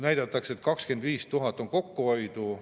Näidatakse, et 25 000 on kokkuhoidu.